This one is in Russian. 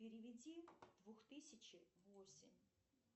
переведи двух тысячи восемь